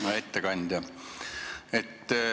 Hea ettekandja!